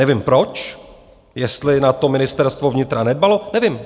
Nevím proč, jestli na to Ministerstvo vnitra nedbalo, nevím.